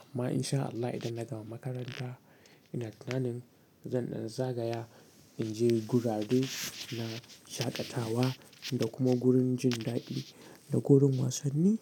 amma in sha Allah idan na gama makaranta ina tunanin zan zagaya in je gurare na shaƙatawa da kuma gurin jin daɗi da gurin wasanni.